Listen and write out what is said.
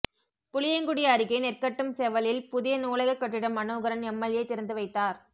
புளியங்குடி அருகே நெற்கட்டும்செவலில் புதிய நூலக கட்டிடம் மனோகரன் எம்எல்ஏ திறந்துவைத்தார்